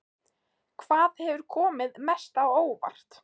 Hvað hefur komið mest á óvart?